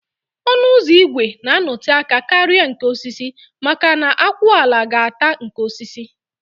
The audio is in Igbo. Ọnụ ụzọ ígwè na anọte aka karịa nke osisi maka na akwụala ga ata nke osisi